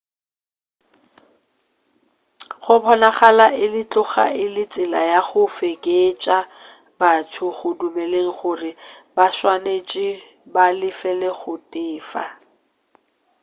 go bonagala e tloga e le tsela ya go fekeetša batho go dumeleng gore ba swanetše ba lefel go feta